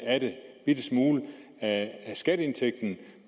smule af skatteindtægten